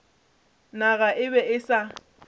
naga e be e sa